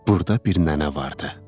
Burda bir nənə vardı.